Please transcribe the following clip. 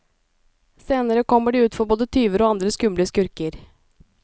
Senere kommer de ut for både tyver og andre skumle skurker.